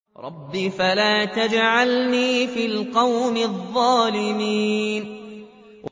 رَبِّ فَلَا تَجْعَلْنِي فِي الْقَوْمِ الظَّالِمِينَ